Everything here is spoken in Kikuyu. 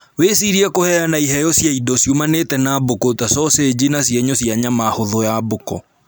Wĩcirie kuheana iheo cia indo ciumaine na mbũkũ ta soseji na cienyũ cia nyama hũthũ ya mbũkũ